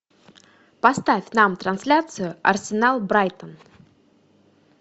поставь нам трансляцию арсенал брайтон